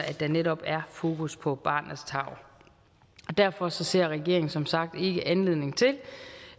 at der netop er fokus på barnets tarv derfor ser regeringen som sagt ikke anledning til